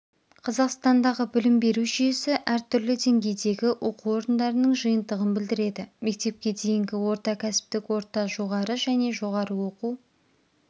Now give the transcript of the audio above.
қазақстандағы білім беру жүйесі әртүрлі деңгейдегі оқу орындарының жиынтығын білдіреді мектепке дейінгі орта кәсіптік орта жоғары және жоғары оқу